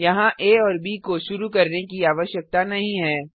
यहाँ आ और ब को शुरू करने की आवश्यकता नहीं है